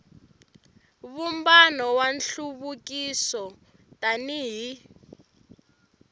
vumbano wa nhluvukiso tani hi